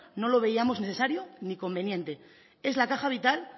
no lo veíamos necesario ni conveniente es la caja vital